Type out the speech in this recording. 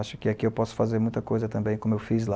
Acho que aqui eu posso fazer muita coisa também, como eu fiz lá.